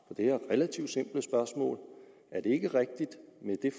det her relativt simple spørgsmål er det ikke rigtigt